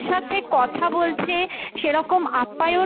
সাথে কথা বলছে সেরকম আপ্যায়ন,